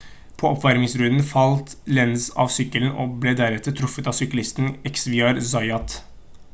på oppvarmingsrunden falt lenz av sykkelen og ble deretter truffet av syklisten xavier zayat